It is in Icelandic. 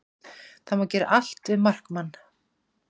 Það má gera allt við markmann